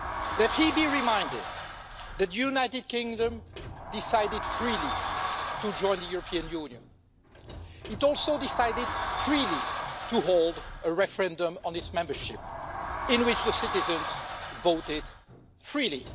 Let him be reminded that the United Kingdom decided freely to join the European Union. It also decided freely to hold a referendum on its membership in which the citizens voted freely.